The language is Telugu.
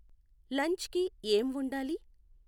లంచ్ కి ఏం వొండాలి